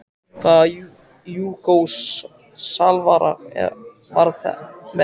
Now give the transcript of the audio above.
Hvaða Júgóslavar verða með ykkur?